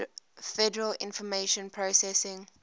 federal information processing